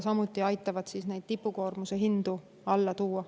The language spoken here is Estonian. See aitab samuti neid tipukoormuse aegseid hindu alla tuua.